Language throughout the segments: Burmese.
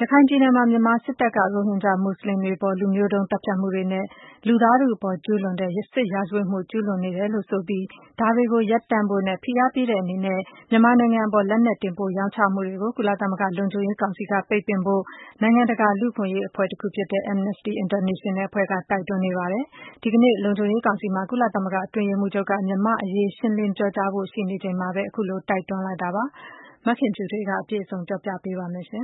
ရခိုင်ပြည်နယ်မှာ မြန်မာစစ်တပ်က ရိုဟင်ဂျာမူစလင်တွေအပေါ် လူမျိုးတုံးသတ်ဖြတ်မှုတွေနဲ့ လူသားထုအပေါ် ကျူးလွန်တဲ့ စစ်ရာဇဝတ်မှု ကျူးလွန်နေတယ်လို့ ဆိုပြီး ဒါတွေကို ရပ်တန့်ဖို့ ဖိအားပေးတဲ့အနေနဲ့ မြန်မာနိုင်ငံအပေါ် လက်နက်တင်ပို့ရောင်းချမှုတွေကို ကုလသမဂ္ဂ လုံခြုံရေးကောင်စီက ပိတ်ပင်ဖို့ နိုင်ငံတကာ လူ့အခွင့်အရေး အဖွဲ့တခုဖြစ်တဲ့ Amnesty International အဖွဲ့က တိုက်တွန်းနေပါတယ်။ ဒီကနေ့ လုံခြုံရေးကောင်စီမှာ ကုလသမဂ္ဂ အတွင်းရေးမှူးချုပ်က မြန်မာ့အရေး ရှင်းလင်းပြောကြားဖို့ ရှိနေချိန်မှာပဲ ခုလို တိုက်တွန်းလိုက်တာ ဖြစ်ပါတယ်။ မခင်ဖြူထွေးက အပြည့်စုံ တင်ပြပေးပါမယ်။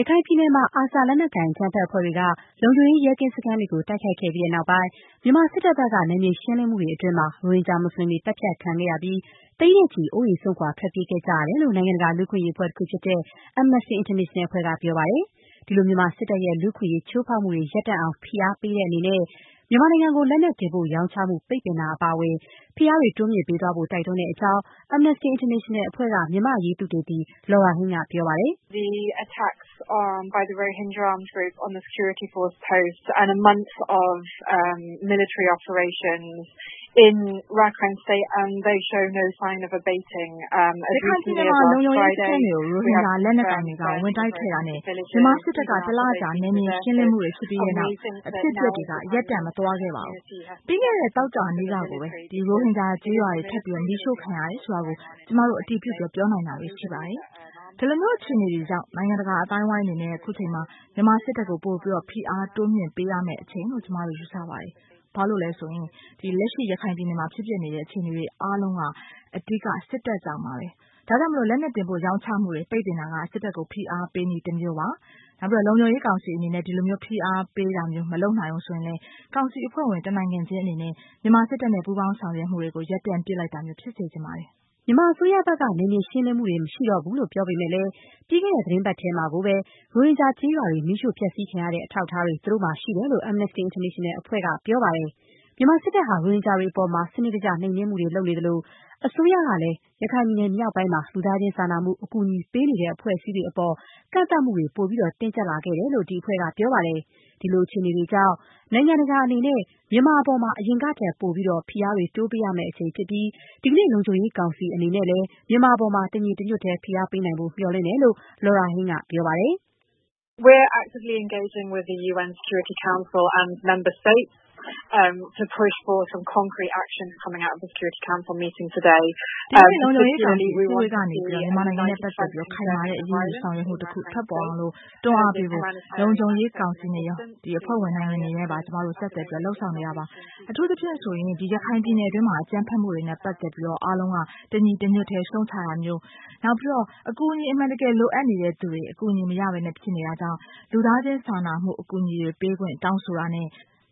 ရခိုင်ပြည်နယ်မှာ ARSA လက်နက်ကိုင် အကြမ်းဖက်အဖွဲ့တွေက လုံခြုံရေး ရဲကင်းစခန်းတွေကို တိုက်ခိုက်ခဲ့ပြီးတဲ့နောက်ပိုင်း မြန်မာစစ်တပ် ဘက်က နယ်မြေရှင်းလင်းမှုတွေ အတွင်းမှာ ရိုဟင်ဂျာ မူစလင်တွေ သတ်ဖြတ်ခံခဲ့ရပြီး သိန်းနဲ့ချီ အိုးအိမ် စွန့်ခွာ ထွက်ပြေး နေကြရတယ်လို့ နိုင်ငံတကာ လူ့အခွင့်အရေး အဖွဲ့တခုဖြစ်တဲ့ Amnesty International အဖွဲ့က ပြောပါတယ်။ ဒီလို မြန်မာစစ်တပ်ရဲ့ လူ့အခွင့်အရေး ချိုးဖောက်မှုတွေ ရပ်တန့်အောင် ဖိအားပေးတဲ့အနေနဲ့ မြန်မာနိုင်ငံကို လက်နက် တင်ပို့ ရောင်းချမှု ပိတ်ပင်တာ အပါအဝင် ဖိအားတွေ တိုးမြှင့်ပေးသွားဖို့ တိုက်တွန်းတဲ့အကြောင်း Amnesty International အဖွဲ့က မြန်မာ့အရေးသုတေသီ Laura Haigh က ပြောပါတယ်။ “ရခိုင်ပြည်နယ်မှာ လုံခြုံရေးစခန်းတွေကို ရိုဟင်ဂျာ လက်နက်ကိုင်တွေက ဝင်တိုက်ခဲ့တာနဲ့ မြန်မာစစ်တပ်က တလကြာ နယ်မြေရှင်းလင်းမှုတွေ ဖြစ်ခဲ့ပြီးတဲ့နောက် အဖြစ်အပျက်တွေက ရပ်တန့်မသွားပါဘူး။ ပြီးခဲ့တဲ့ သောကြာနေ့ကကိုပဲ ရိုဟင်ဂျာ ကျေးရွာတွေ ထပ်ပြီး မီးရှို့ခံရတယ်ဆိုတာကို ကျမတို့ အတည်ပြု ပြောနိုင်တာတွေ ရှိပါတယ်။ ဒီလိုအခြေအနေတွေကြောင့် နိုင်ငံတကာ အသိုင်းအဝိုင်း အနေနဲ့ အခုအချိန်မှာ မြန်မာစစ်တပ်ကို ပိုပြီး ဖိအား တိုးမြင့်ပေးရမယ့်အချိန်လို့ ကျမတို့ ယူဆပါတယ်။ ဘာဖြစ်လို့လဲဆိုတော့ လက်ရှိ ရခိုင်ပြည်နယ်မှာ ဖြစ်ပျက်နေတဲ့ အခြေအနေတွေ အားလုံးက အဓိက စစ်တပ်ကြောင့်ပါပဲ။ ဒါကြောင့် လက်နက် တင်ပို့ ရောင်းချမှုတွေ ပိတ်ပင်တာက စစ်တပ်ကို ဖိအားပေးနည်း တမျိုးပါပဲ။ လုံခြုံရေးကောင်စီ အနေနဲ့ ဒီလို ဖိအားပေး မလုပ်နိုင်ဘူးဆိုရင်လည်း ကောင်စီ အဖွဲ့ဝင် တနိုင်ငံချင်း အနေနဲ့ မြန်မာစစ်တပ်နဲ့ ပူးပေါင်းဆောင်ရွက်မှုတွေကို ရပ်တန့်ပစ်လိုက်တာမျိုး ဖြစ်စေချင်ပါတယ်။” မြန်မာအစိုးရဘက်က နယ်မြေရှင်းလင်းမှုတွေ မရှိတော့ဘူးလို့ ပြောပေမဲ့လည်း ပြီးခဲ့တဲ့ သီတင်းပတ်ထဲမှာကိုပဲ ရိုဟင်ဂျာ ကျေးရွာတွေ မီးရှို့ဖျက်ဆီးခံရတဲ့ အထောက်အထားတွေ သူတို့မှာ ရှိတယ်လို့ Amnesty International အဖွဲ့က ပြောပါတယ်။ မြန်မာစစ်တပ်ဟာ ရိုဟင်ဂျာတွေအပေါ် စနစ်တကျ နှိမ်နင်းမှုတွေ လုပ်နေသလို၊ အစိုးရလည်း ရခိုင်ပြည်နယ်မြောက်ပိုင်းမှာ လူသားချင်းစာနာမှု အကူအညီ ပေးနေတဲ့ အဖွဲ့အစည်းတွေအပေါ် ကန့်သတ်မှုတွေ ပိုပြီး တင်းကျပ်လာခဲ့တယ်လို့လည်း ဒီအဖွဲ့က ပြောပါတယ်။ ဒီလိုအခြေအနေတွေကြောင့် နိုင်ငံတကာအနေနဲ့ မြန်မာအပေါ် အရင်ကထက် ပိုပြီး ဖိအားတွေ တိုးပေးရမယ့် အချိန်ဖြစ်ပြီး ဒီကနေ့ လုံခြုံရေးကောင်စီ အနေနဲ့ မြန်မာအပေါ် တညီတညွတ်တည်း ဖိအားပေးနိုင်ဖို့ မျှော်လင့်တယ်လို့ Laura Haigh ကပြောပါတယ်။ “ဒီကနေ့ လုံခြုံရေးကောင်စီ အစည်းအဝေးကနေ မြန်မာနိုင်ငံနဲ့ပတ်သက်ပြီး ခိုင်မာတဲ့ အရေးယူဆောင်ရွက်မှုတခု ထွက်ပေါ်လာအောင် တွန်းအားပေးဖို့ လုံခြုံရေးကောင်စီနဲ့ရော၊ အဖွဲ့ဝင်နိုင်ငံတွေနဲ့ပါ ကျမတို့ ဆက်သွယ် လုပ်ဆောင်နေပါတယ်။ အထူးသဖြင့် ရခိုင်ပြည်နယ်တွင်း အကြမ်းဖက်မှုတွေနဲ့ ပတ်သက်လို့ အားလုံးက တညီတညွတ်တဲ့ ရှုတ်ချတာမျိုး၊ နောက်… အကူအညီ အမှန်တကယ် လိုအပ်နေသူတွေ အကူအညီမရဘဲ ဖြစ်နေတာကြောင့် လူသားချင်းစာနာမှု အကူအညီတွေ ပေးခွင့် တောင်းဆိုတာနဲ့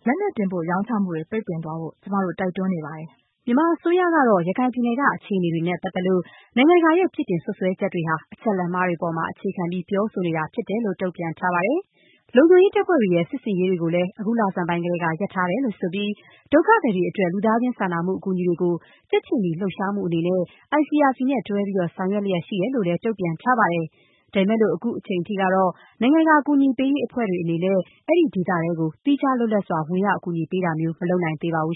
လက်နက် တင်ပို့ ရောင်းချမှုတွေ ပိတ်ပင် သွားဖို့ ကျမတို့ တိုက်တွန်းနေပါတယ်။” မြန်မာအစိုးရကတော့ ရခိုင်ပြည်နယ်က အခြေအနေတွေနဲ့ပတ်သက်လို့ နိုင်ငံတကာရဲ့ပြစ်တင်စွတ်စွဲချက်တွေဟာ အချက်အလက်မှားတွေ အပေါ် အခြေခံပြီး ပြောဆိုနေတာဖြစ်တယ်လို့ တုံ့ပြန်ထားပါတယ်။ လုံခြုံရေးတပ်ဖွဲ့တွေရဲ့ စစ်ဆင်ရေးတွေကိုလည်း အခု လဆန်းပိုင်းကတည်းက ရပ်တန့်ထားတယ်လို့ ဆိုပြီး၊ ဒုက္ခသည်တွေအတွက် လူသားချင်းစာနာ ကူညီမှုတွေကို ကြက်ခြေနီလှုပ်ရှားမှုအနေနဲ့ ICRC နဲ့ တွဲပြီး ဆောင်ရွက်လျက်ရှိတယ်လို့ တုံ့ပြန်ထားပါတယ်။ ဒါပေမဲ့လို့ အခုအချိန်မှာ နိုင်ငံတကာ ကူညီရေးအဖွဲ့တွေအနေနဲ့ အဲဒီဒေသထဲကို သီးခြား လွတ်လပ်စွာ ဝင်ရောက် အကူအညီပေးတာမျိုး မလုပ်နိုင်သေးပါဘူး